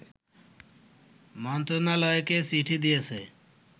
মন্ত্রণালয়কে চিঠি দিয়েছে